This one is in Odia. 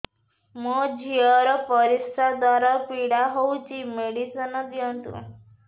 ମୋ ଝିଅ ର ପରିସ୍ରା ଦ୍ଵାର ପୀଡା ହଉଚି ମେଡିସିନ ଦିଅନ୍ତୁ